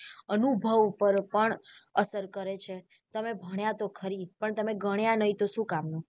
અનુભવ ઉપર પણ અસર કરે છે તમે ભણ્યા તો ખરી પણ તમે ગણ્યા નહિ તો શું કામ નું.